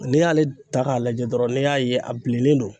N'i y'ale ta k'a lajɛ dɔrɔn n'i y'a ye a bilennen don